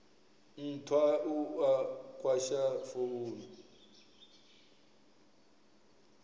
nthwa u a kwasha founu